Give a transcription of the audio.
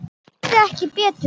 Ég heyrði ekki betur.